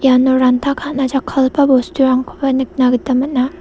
iano ranta ka·na jakkalgipa bosturangkoba nikna gita man·a.